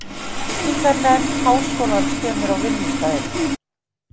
Byggingarnefnd háskólans kemur á vinnustaðinn.